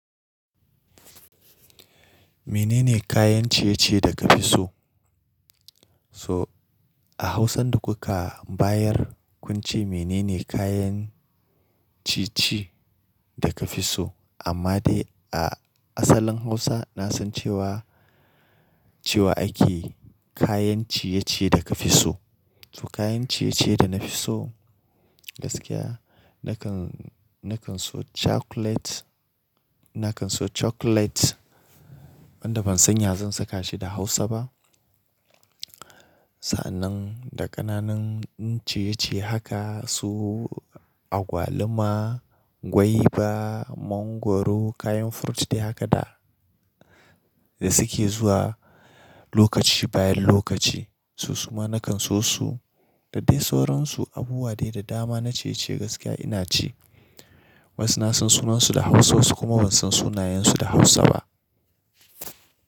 Mene ne kayan ciye-ciye da ka fi so? So a Hausan da kuka bayar kun ce mene ne kayan ciye-ciye da ka fi so? Amma dai a asalin Hausa na san cewa, cewa ake kayan ciye-ciye da ka fi so. To kayan ciye-ciye da na fi so gaskiya nakan, nakan so chocolate, nakan so chocolate wanda ban san ya zan saka shi da Hausa ba. Sannan da ƙananan ciye-ciye haka su agwaluma, guava, mangwaro kayan fruit dai haka da, da suke zuwa lokaci bayan lokaci. Su kuma na kan so su da dai sauransu abubuwa dai da dama na ciye-ciye gaskiya ina ci. Wasu na san sunansu da Hausa wasu kuma ban san sunayensu da Hausa ba.